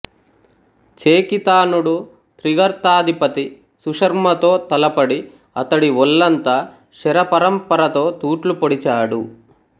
చేకితానుడు త్రిగర్తాధిపతి సుశర్మతో తలపడి అతడి ఒళ్ళంతా శరపరంపరతో తూట్లు పొడిచాడు